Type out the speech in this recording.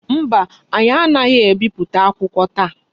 Mba, anyi anaghi ebipụta akwụkwọ taa.